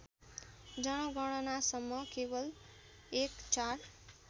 जनगणनासम्म केवल १४